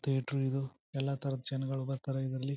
theatre ಇದು ಎಲ್ಲ ತರದ ಜನಗಳು ಬರ್ತಾರಾ ಇದರಲ್ಲಿ--